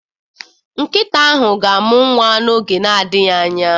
Nkịta ahụ ga-amụ nwa n'oge na-adịghị anya.